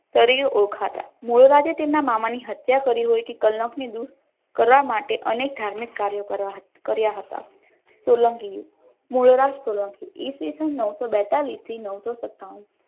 તરીકે ઓળખાતા મોજ આજે તેમના મામાની હત્યા કરી હોય કલા માટે અનેક ધાર્મિક કાર્યો કરવા કર્યા હતા સોલંકી યુગ મૂળરાજ સોલંકી ઇસવિસન નવસો બેતાલીશ થી નવસો સત્તાનું